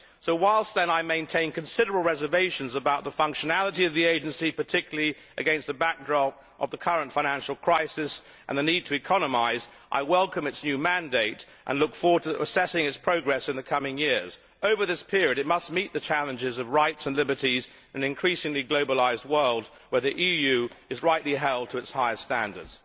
So whilst I maintain considerable reservations about the functionality of the agency, particularly against the backdrop of the current financial crisis and the need to economise, I welcome its new mandate and look forward to assessing its progress in the coming years. Over this period it must meet the challenges of rights and liberties in an increasingly globalised world, where the EU is rightly held to its highest standards.